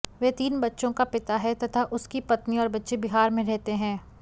वह तीन बच्चों का पिता है तथा उसकी पत्नी और बच्चे बिहार में रहते हैं